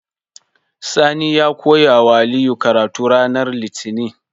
Sani ya koyawa aliyu karatu ranar litinin